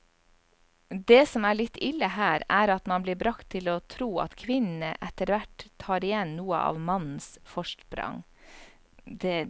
Det som er litt ille her, er at man blir bragt til å tro at kvinnene etterhvert tar igjen noe av mannens forsprang.